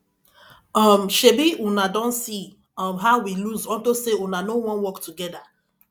um shebi una don see um how we lose unto say una no wan work together